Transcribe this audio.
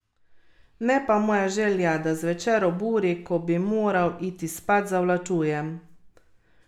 Ne pa moja želja, da zvečer ob uri, ko bi moral iti spat, zavlačujem.